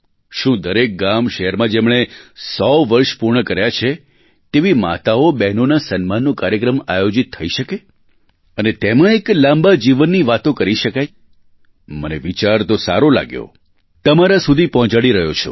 શું દરેક ગામશહેરમાં જેમણે 100 વર્ષ પૂર્ણ કર્યાં છે તેવી માતાઓબહેનોના સન્માનનો કાર્યક્રમ આયોજિત થઈ શકે અને તેમાં એક લાંબા જીવનની વાતો કરી શકાય મને વિચાર તો સારો લાગ્યો તમારા સુધી પહોંચાડી રહ્યો છું